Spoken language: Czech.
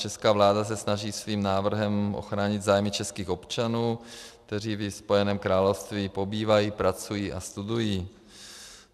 Česká vláda se snaží svým návrhem ochránit zájmy českých občanů, kteří ve Spojeném království pobývají, pracují a studují.